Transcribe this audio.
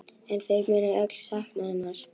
En þau munu öll sakna hennar.